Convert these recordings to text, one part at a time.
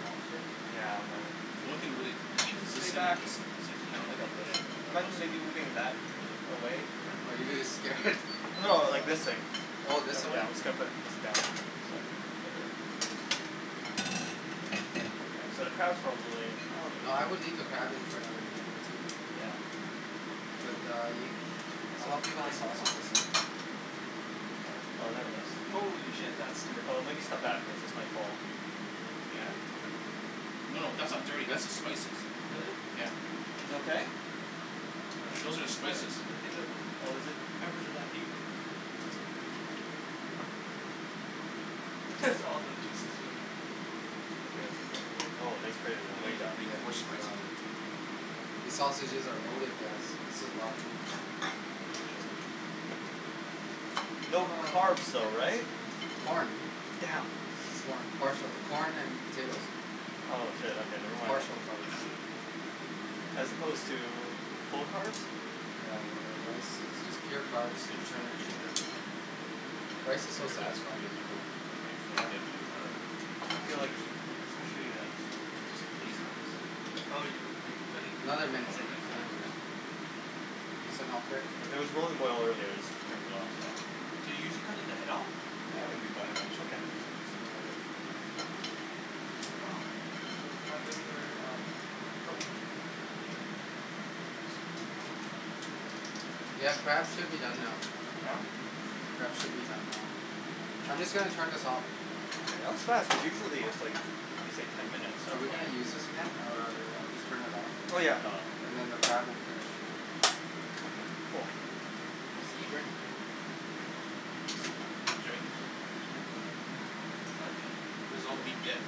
lobster? Yeah, I'm The gonna only thing to really eat is this thing and this thing. That's it. You can't Mhm. really eat the head, well, unless you want to eat the head. Yeah. Are you scared? No, like, this thing. All of this away? Yeah, I'm just gonna put this down so I don't have to So, the crab is probably, No, oh I would leave the crab in for another minute or two. Yeah. But uh you, I'll help you with the sausages. Oh, there it is. Holy shit. That's dirty. Oh, maybe step What? back because this might fall. Yeah. No, no, that's not dirty, that's the spices. Really? Yeah Is it okay? I Those don't are the think that, spices. I don' think that, Oh, is it? peppers are that huge. That's all the juices coming out. Oh, this. eat pretty Yeah, coarse these spices uh here. These sausages are loaded guys. This is a lot of food. No Ah carbs though, right? Corn. Damn. Corn, parts of corn and potatoes. Oh shit okay never mind then. Partial carbs. As opposed to, full carbs? Yeah uh rice is just pure carbs This is interesting, and eating sugar. this. Rice is so Look at this satisfying to eat take though. a knife, or the other thing, Yeah, Um. I feel like, scissors. especially as This isn't clean enough. No Oh no, you, are you cutting, you Another I'm gonna, you minute, said I'm use another gonna that do this. minute. right? You need some help there? It was really boiling over there so I just turned it off so Do you usually cut off the head off? Yeah, okay, yeah, we let's usually cut focus the head on off. Okay. the Wow. Hey, do you mind moving your um, coke, thank you Ah. Yeah, the crab should be done now. Yeah? The crab should be done now. I'm just going to turn this off. That was fast, cuz usually it's like it's like ten minutes. Are we going to use this again? Or I'll just turn it off, Oh and, yeah nah. and then the crab will finish. Okay, cool. Holy See Rick shit. Jimmy. This is all the meat he gets.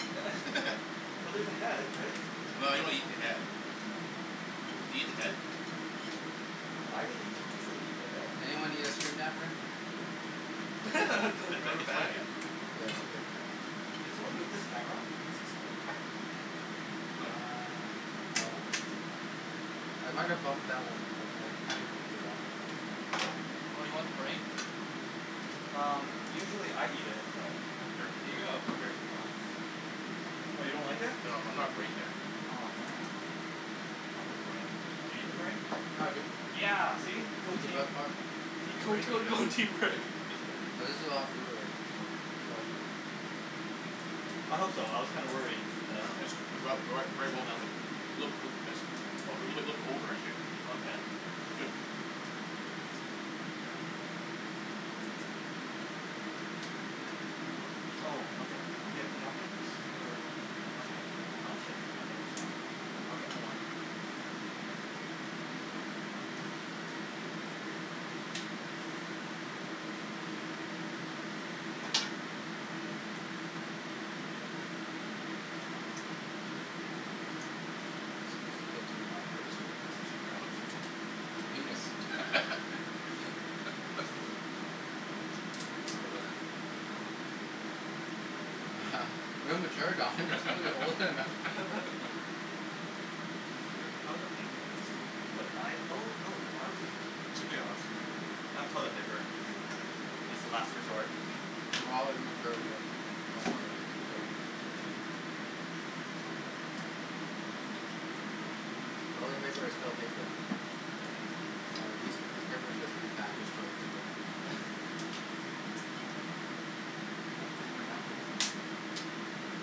Well there's the head right? Well I don't eat the head. Do you eat the head? I usually eat the head. Anyone need extra napkin? Yeah it's okay. Did someone move this camera? Nope. Uh No. no. I might have bumped that one but I kind of moved it back. Oh you want the brain? Um usually I eat it but Here. Here you go! Come here. Oh. Oh you don't like it? No I'm not brain guy. Aw man. I love the brain. Do you eat the brain? Yeah dude. Yeah! See? Go It's the best team. part. Team Go brain here. team go team brain. But this is a lot of food already, so it's all you. I hope so, I was kinda worried that a it wasn't enough. little bit a little over I'd say. Okay. It's good. Oh okay. Do we have the napkins? Or. Okay. Aw shit, there's not that much left. I'll get more. S- still too hot. What is, this looks like A penis? Real mature Don, you're supposed to be older than that So we are out of napkins, but I oh no, are we It's okay I'll have some. I have toilet paper as the last resort. We're all immature here, don't worry. It's very Asian. Toilet paper is still paper. I guess. Mm. Yeah, these, this paper is just repackaged toilet paper. Oh, I thought I had more napkins somewhere. Well.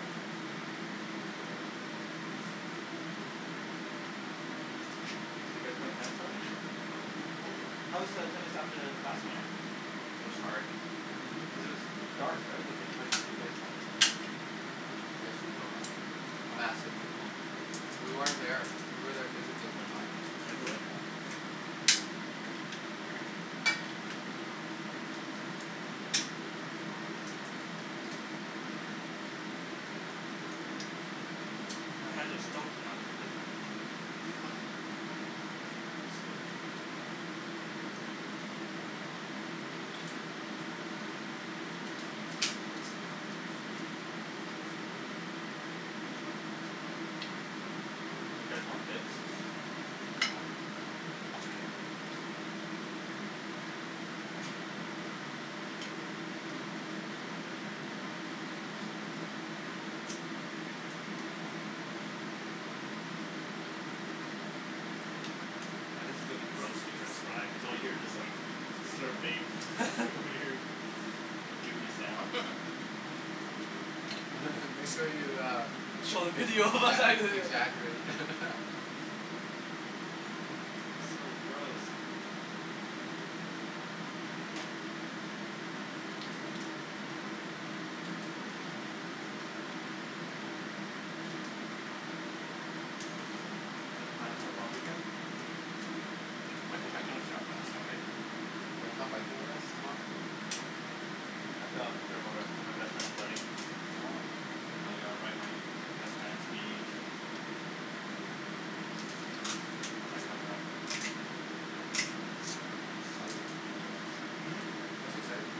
Hiccup. Maybe we used it a lot. So you guys playing tennis later? Mhm. Hopefully. How was the tennis at the It was hard. Mhm. Cuz it was dark right, like how did you guys play? Just food coma. Massive food coma. We weren't there. We were there physically, but not Mentally? Yeah. My hands are stoked now. Do you guys want bibs? It's fine. It's okay. Now this is gonna be gross to transcribe, cuz all you hear is just like, slurping weird gooey sounds. Make sure you uh Show the video exa- exaggerate So gross. Any plans for the long weekend? Might go hiking on Sa- on Sunday. Wanna come hiking with us tomorrow? I have to prepare for for my best friend's wedding. Oh. And I gotta write my best man's speech and Mm. all that kind of stuff. Exciting. Mm? Mhm. That's exciting.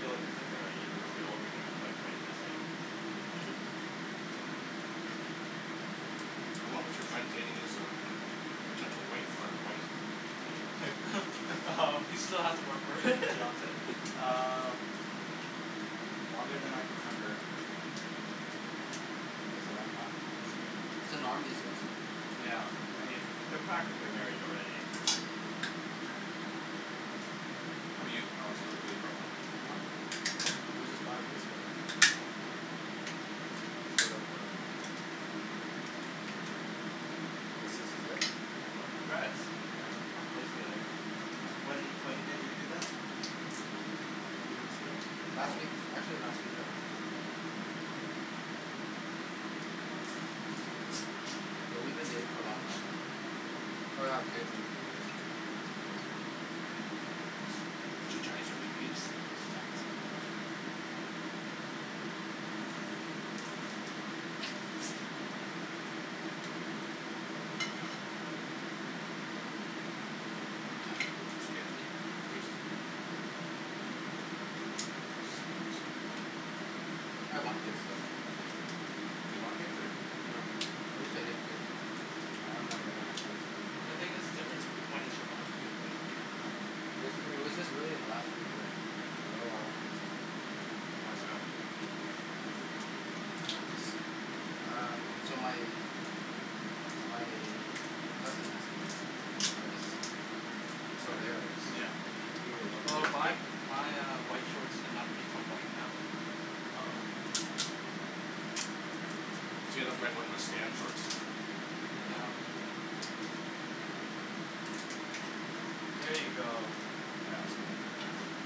Feel like it's like a university all over again, you have to like write an essay. How long was your friend dating this uh potential wife or wife? Potential wife He still has to work for it Fiance, uh, longer than I can remember. Hm, that's a long time. That's the norm these days though. Yeah, I mean, they're practically married already. How 'bout you Alex, you live with your girlfriend? No, No? but we just bought a place together. Oh. Sort of um, I guess this is it. Well congrats, Yeah. if you bought a place together. When when did you do that? Two weeks ago. Last week, Oh! actually, last week I went to give the money. But we've been dating for a long time Mm. now. Probably gonna have kids in a few years. One or two years. Mm. Is she Chinese or Vietnamese? She's Chinese. Nice girl It's good. Tasty. I want kids though. You want kids or? No. I used to hate kids. Mm. I never gonna have kids. Well the thing is, difference whe- when it's your own too right. Yeah. It was just it was just really in the last few years like oh I want kids now. Why's that? Maybe I'm just, um, so my my cousin has kids, and I just, from there I just, yeah, like we have a lot of Well kids my uh yeah. my uh white shorts did not become white now. Oh. Yeah. Here you go. Yeah that's good.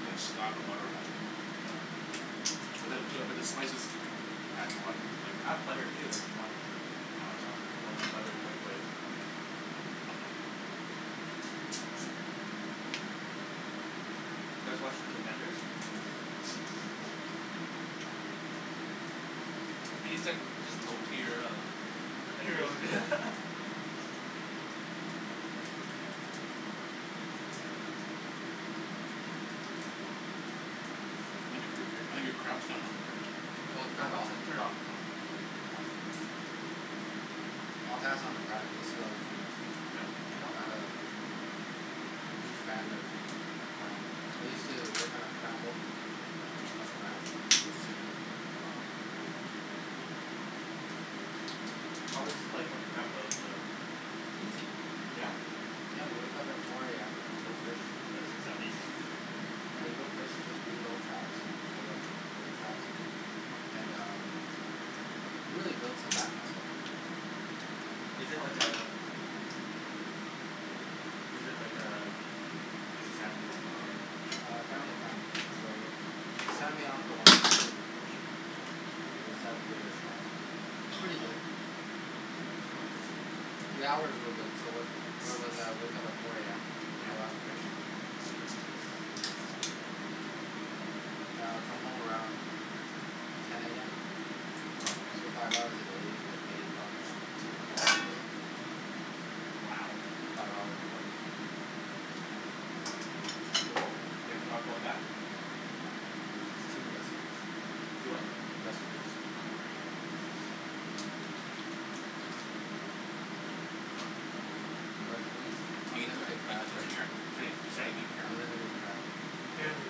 You gotta slab the butter on that thing Oh. But but it's the still good but the spices though. adds a lot of flavor I have butter to too it. if you want. No If you wanna it's melt okay. some butter in the Mm. microwave. Do you guys watch The Defenders? No. No no. What do you think, just low tier uh Avengers? Heroes I think your cr- I think your crab's done now Rick. Oh it's No turned it's off. just It's turned off. Mm. fine. I'll pass on the crab, this is already too much. Really? What? I'm not a huge fan of crab. I used to work on a crab boat, ate too much crab and got sick of it. Oh. How was life on the crab boat though? Easy. Yeah? I had to wake up at four AM, go fish, That doesn't sound easy yeah you go fish, just reload traps and pull up old traps and um, you really build some back muscle. Is it like a, is it like a, like a family thing or A family friend. So, they signed me on for one season, Good job. I decided to give it a shot. Pretty good. The hours were good, so where where was I, I woke up at four AM, Yeah. caught lots of fish. I'd come home around ten AM, Okay. so five hours a day, get paid about two hundred bucks a day. Wow. Five hours of work. Yep. You ever thought of going back? No, it's too industrious. Too what? Industrious. Wow. But, we eat Is there unlimited crab right. any, is there Sorry? any meat in here? Unlimited crab. Barely.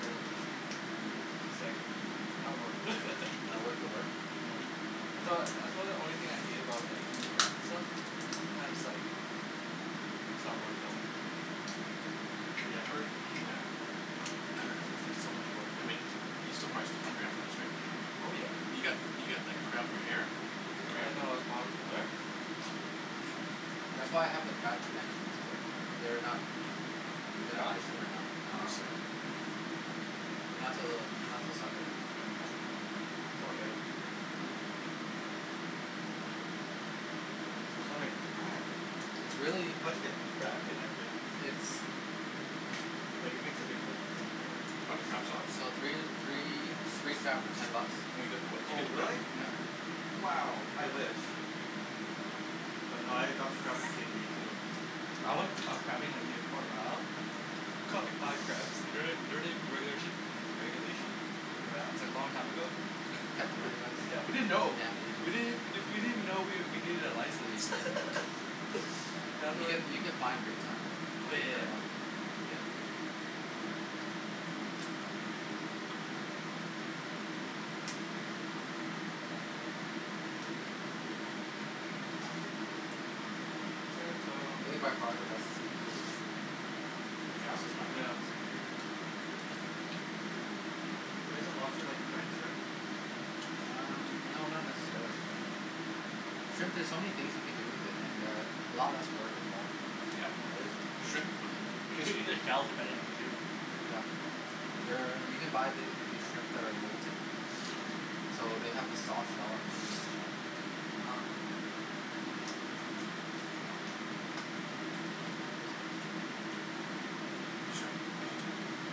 No, Mm. it's like, not worth. Not worth the work? Yeah. That's why, that's why the only thing I hate about like eating crab and stuff, sometimes like, it's not the worth the mm The effort? Yeah. It's like so much I workload. mean, you're still prob still hungry after this right Jimmy? Oh yeah. You've got, you've got like crab in your hair. Oh I yeah. didn't know I was prob- where? That's why I have the crab connections, but, they're not, Is they're it not gone? fishing right now. No, Uh Um. this side. not till, not till Sunday. It's all good. I was wondering It's really, how'd you get crab connections it's Like it makes a big difference I'm You sure. bought the crab sauce? So three, three, Hm? three crab for ten bucks. Oh you got, oh did you Oh get the crab really? Yeah. sauce. Mm. Wow, I wish. But nah I got the crab from T&T too. I went uh crabbing like near Port Royal, caught like five crabs. Don't they don't they regula- regulation? Oh yeah? It's like long time ago. Caught them anyways. Yeah, Damn we didn't know. We Asians. didn't we didn't even know we needed a license. Asians. You get you get fined big time Oh though. yeah Be yeah yeah. careful. Yeah. I think by far the best seafood is shrimp. Yeah? That's just Mm my yeah. preference. But isn't lobster like a giant shrimp? Um no not necessarily. Shrimp there's so many things you can do with it, and uh a lot less work involved. You can eat the shells depending on too. Yeah. There, you can buy these shrimp that are molting so they have the soft shell underneath the shell. Wow. Use your, use your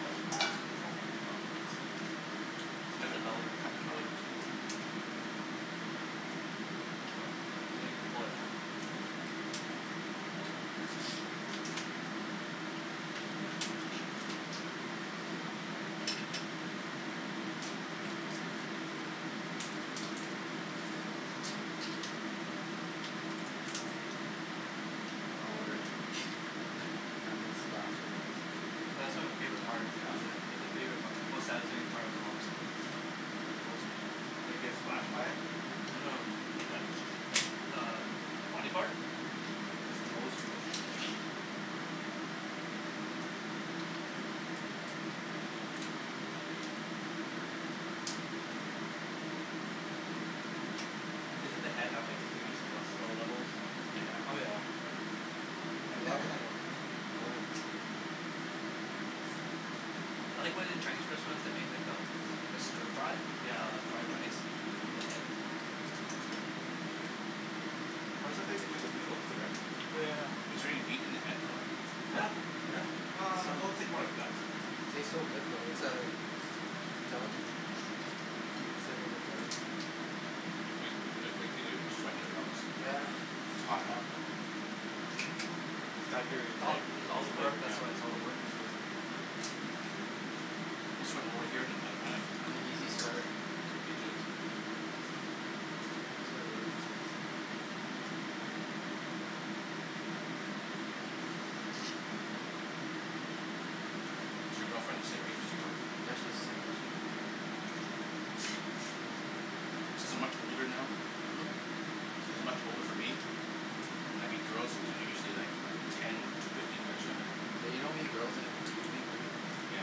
Huh? Oh. Cut the belly. Cut the belly into it. Oh huh. Now you can pull it out. Don't worry I'm not gonna splash you guys. That's like my favorite, part, actually, that's my favori- part, most satisfying part of the lobster, like the most meat. When you get splashed by it? Well no, that's, that's uh the body part? Mhm. Cuz it's the most right. Doesn't the head have like huge cholesterol levels? Oh yeah. I love it though, I love it. I like when in Chinese restaurants, they make like a, like a stir fry, Yeah. of fried rice, in the head? It's good. Or sometimes they do it with noodle too right? Oh yeah yeah yeah. Is there any meat in the head though? Huh? Yeah! There's Ah, some, well it's like more like guts and it tastes so good though. It's uh, a delicacy. Considered a delicacy. You're sweating there Alex. Yeah. It's hot huh. It's got It's all, it's all it's the work flavored now. that's why, it's all the work he's doing. Mhm. I'm sweating more here than in tennis. I'm an easy sweater. Me too. I sweat really easy. Is your girlfriend the same age as you or? Yeah, she's the same age. Mhm. Since I'm much older now, Hm? since there's not much older for me, when I meet girls they're usually like ten, fifteen years younger than me. Yeah you don't meet girls anymore, you meet women. Yeah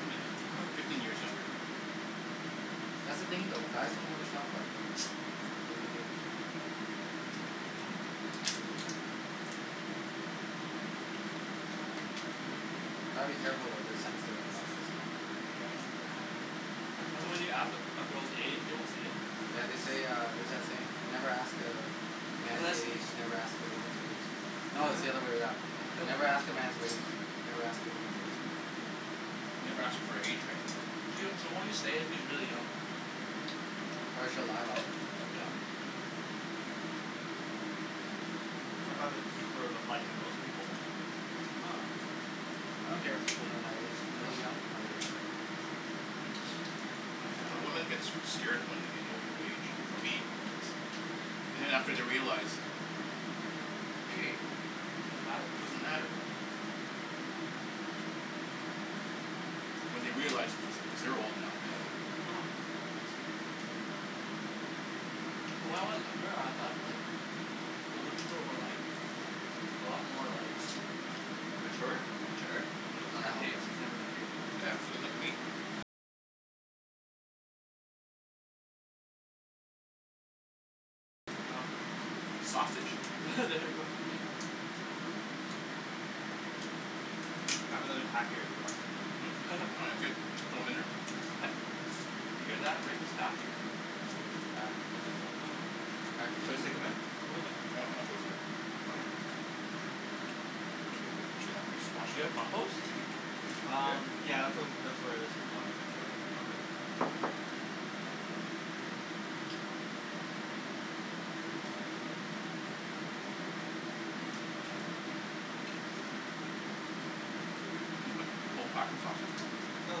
women, fifteen years younger. That's the thing though. Guys don't have a shelf life though. Women do. Mhm. Gotta be careful though, they're sensitive about that stuff. Yeah. Yeah. That's why when you ask, a a girl's age, they won't say. Yeah they say uh, there's that saying. Never ask a man's age, never ask a woman's wage. No it's the other way around, never ask a man's wage, never ask a woman's age. Mm. Never ask her for her age right. She'll she'll only say it if she's really young. Or she'll lie about it. Yeah. I thought that's sort of applied to most people. I don't care if people know my age, I look young for my age so I dunno, women get s- scared when they know your age, for me anyways. And after they realize, hey, it doesn't matter. When they realize, cuz they're old now When I was younger, I thought like, older people were like, a lot more like, Mature? mature, It's not the Hell case, no. it's never the case now. Sausage. There we go. I have another pack here if you want them. Hm? Oh that's good, just throw 'em in there. He's pa- did you hear that, Rick is packing. Yeah, Rick is packing. He's packing Should I heat. stick them in? I throw Okay. this in there already Do you have compost? Um, Here? yeah, that's whe- um that's where this is going eventually. Okay. Did you put the whole pack of sausage there? No,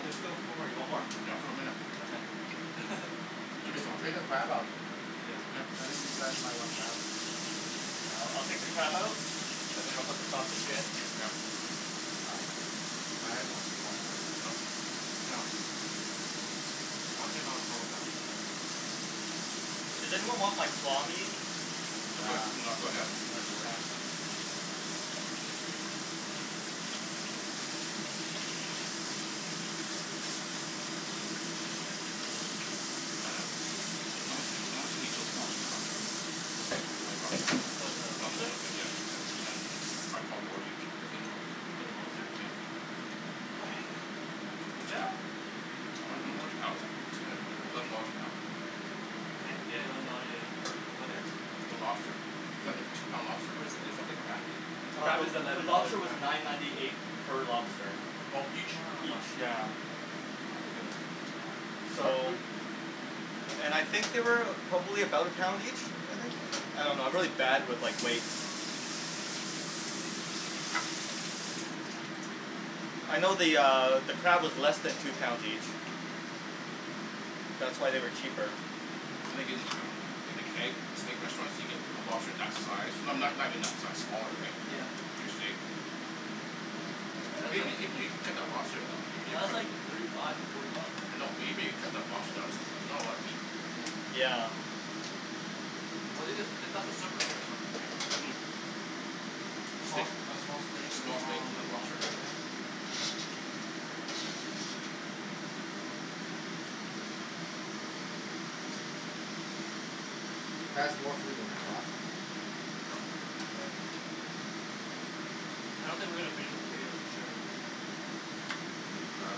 there's still four more, you want more? Yeah, throw 'em in there. Okay. Jimmy's Ta- still hungry take the right? crab out, Yeah. I think these guys might want crab. Yeah, I'll I'll take the crab out? And then I'll put the sausage in. Yeah. Ah, my headphones keep falling out. Yeah. Does anyone want like claw meat? Nah, That's okay. too much work. How much, how much, did each those lobster cost then? Twenty bucks? No no no then yeah, ten t- ten or twelve dollars each? Fifteen dollars each? For the lobster? Yeah. Yeah How h- how how much a pound is it? Eleven dollars a pound? Ten? Yeah eleven dollar, yeah yeah What is? The lobster. Is that the two pound lobster? Or is that, is that the crab, the Uh crab the is the eleven dollars lobster a was pound. nine ninety eight per lobster. Ah Oh each? huh. Each, yeah. That's pretty good, that's not bad. That's So, cheap! and I think they weigh about, probably about a pound each? I think? I dunno, I'm really bad with like, weights. Mm. I know the uh, the crab is less than two pounds each. That's why they were cheaper. I think in like the Keg, steak restaurants, you get a lobster for that size, no- no- not even that size, smaller right, Yeah. with your steak Yeah but that's Even even even if you cut the lobster down, even if li- , you that's cut, like thirty five to forty bucks. I know, but even if you cut the lobster down, there's s- not a lot of meat here. Yeah. Yeah. Well it's it's a, that's a surf and turf menu Mhm right Steak, a small steak and a small steaks small and a lobster lobster, right yeah? That was more food than I thought. Huh? Yeah. I don't think we're gonna finish the potatoes for sure. Even crab.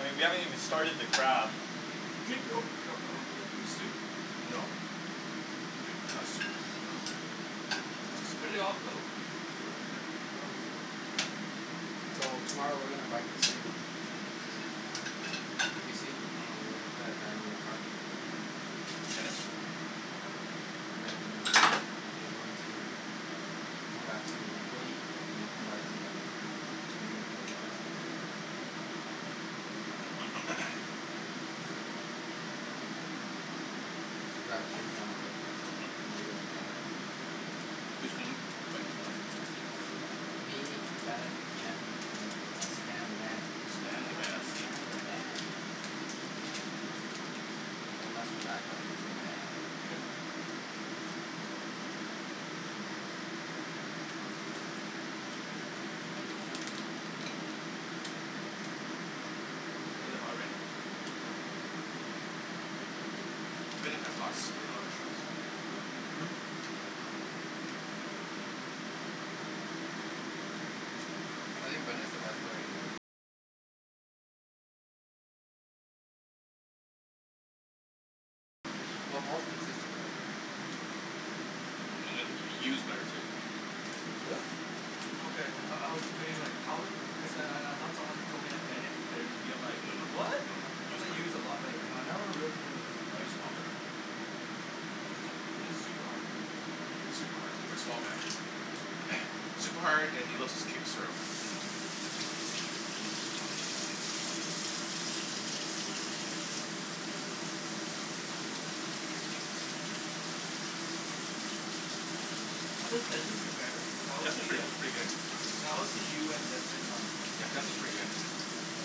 I mean, we haven't even started the crab. drink yo- , your soup? No. I'm drinking the soup. Oh, where'd it all go? I threw it in there. So, tomorrow we're gonna bike to UBC. Mm And we're going to play at Vanier park. Tennis? Mhm Yeah, and then, we're going to come back to go eat, and then come back to q e and Jordan's house. Okay Should grab Jimmy on the way, Hm? I know he doesn't drive. Who's going biking tomorrow? Me, Bennett, Jen, and uh Stan the man. Stan the man Stan the man! Don't mess with that guy, he's the man. Is it really hot right now? No Bennett has lots of spin on his shots. Mhm Well Paul's consistent right Mm And and then Y- Yu's better too. Really? Okay, I I was debating like how good, cuz then I I thought someone once told me that Bennett is better than Yu, I'm like, No no no, "What?", no no, I Yu's thought better. Yu is a Well lot better. right now Yu's a lot better. He hits, he hits super hard man Super hard, for a small guy super hard, and he loves his kick serve How does Desmond compare then? Cuz I always Desmond's see pretty uh, pretty good, I always see Yu and Desmond uh yeah, Desmond's pretty good. Yeah.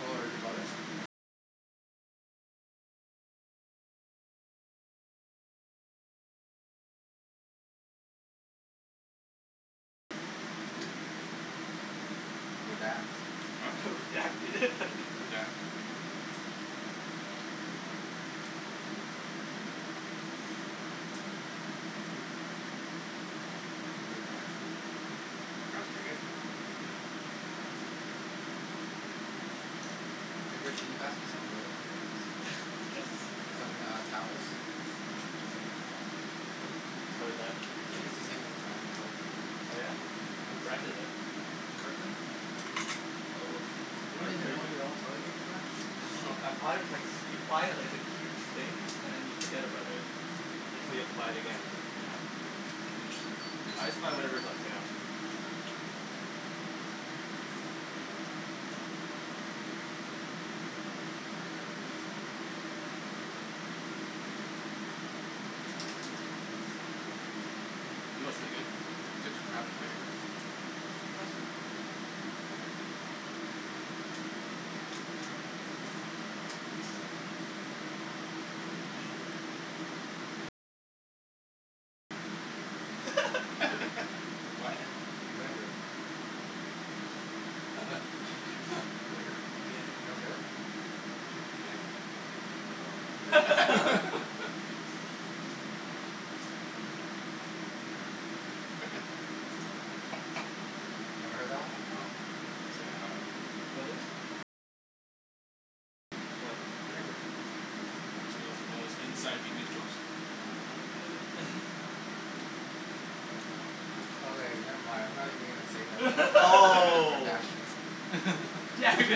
Oh are they brothers? Redact Huh? Redact it Redact. Crab's pretty good. Yeah. Hey Rick can you pass me some toilet paper please? Yes. Some uh, towels? Some, toilette. I use the same brand of toilet paper. Oh yeah? Yeah, What thanks. brand is it. Kirkland? Oh, You you don't have even grea- know your own toilet paper brand? , oh, I buy it with like, you buy it like in huge things and then you forget about it. Until you have to buy it again. Yeah, huge I just buy discount. whatever is on sale. You know what's really good? Dip the crab in vinegar. Mm Holy shit. What? Vinegar. Vinegar You don't Vin get it? Vin, oh. Never heard that one? No, can't say I have. What is? What? Vinegar It's one of Vietnamese inside jokes. Nah I don't get it Okay never mind, I'm not even going to say that, you all are Oh! bashing it